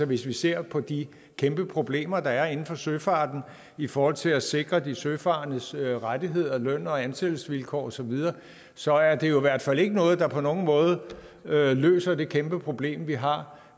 vi ser på de kæmpe problemer der er inden for søfarten i forhold til at sikre de søfarendes rettigheder løn og ansættelsesvilkår osv så er det jo i hvert fald ikke noget der på nogen måde løser det kæmpe problem vi har